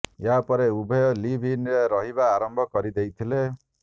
ଏହା ପରେ ଉଭୟ ଲିଭ୍ ଇନରେ ରହିବା ଆରମ୍ଭ କରିଦେଇଥିଲେ